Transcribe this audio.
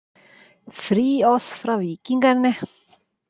„Fri os fra vikingerne.“